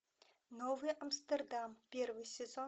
новый амстердам первый сезон